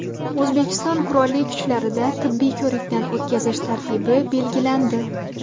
O‘zbekiston Qurolli Kuchlarida tibbiy ko‘rikdan o‘tkazish tartibi belgilandi.